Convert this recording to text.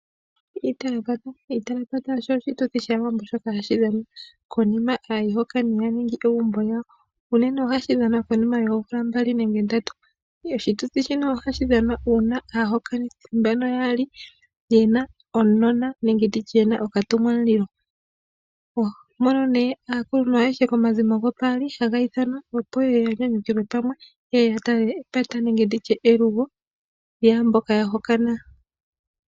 Iitalapata osho oshituthi shaawambo shoka hashi dhanwa konima yohango uuna aayihokani yatungu egumbo lyawo. Ohashi dhanwa nee unene konima yoomvula mbali nenge ndatu uuna aayihokani mboka yaali yena okanona. Aakuluntu ayehe yokomazimo ngano gopaali haya ithanwa opo ye ye yanyanyukilwe pamwe yo ya tale nee elugo lyomukulukadhi.